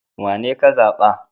Wanene ka zaɓa?